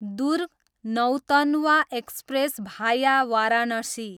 दुर्ग, Nautanwa express भाया वाराणसी